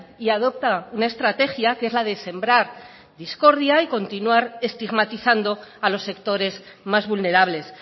y adopta una estrategia que es la de sembrar discordia y continuar estigmatizando a los sectores más vulnerables